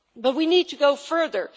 We need to go further.